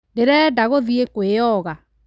Ndĩrenda gũthiĩ kwĩoga